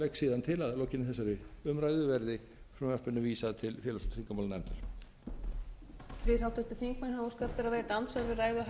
síðan til að að lokinni þessar umræðu verði frumvarpinu vísað til félags og tryggingamálanefndar